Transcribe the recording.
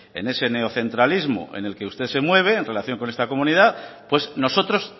en ese neocentralismo en el que usted se mueve en relación con esta comunidad pues nosotros